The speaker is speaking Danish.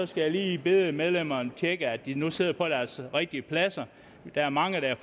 skal jeg lige bede medlemmerne tjekke at de nu sidder på deres rigtige pladser der er mange der